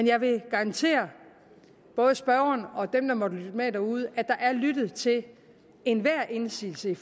jeg vil garantere både spørgeren og dem der måtte lytte med derude at der er lyttet til enhver indsigelse i